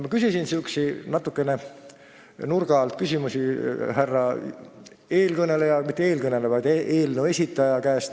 Ma küsisin eelnõu esitleja käest sääraseid natuke nurga alt küsimusi.